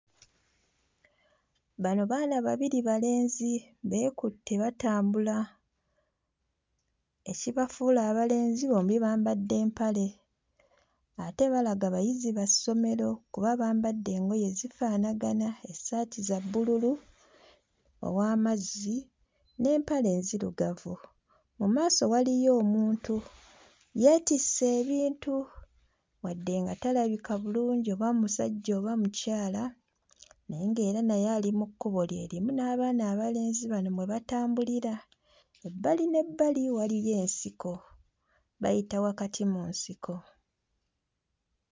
Bano baana babiri balenzi, beekutte batambula. Ekibafuula abalenzi bombi bambadde mpale ate balaga bayizi ba ssomero kuba bampadde engoye zifaanagana, essaati za bbululu ow'amazzi n'empale enzirugavu. Mu maaso waliyo omuntu, yeetisse ebintu wadde nga talabika bulungi oba musajja oba mukyala naye ng'era naye ali mu kkubo lye limu wamu n'abaana abalenzi bano we batambulira. Ebbali n'ebbali waliyo ensiko. Bayita wakati mu nsiko.